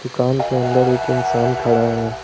दुकान के अंदर एक इंसान खड़ा है।